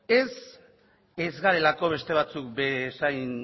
ez ez gaudelako beste batzuk bezain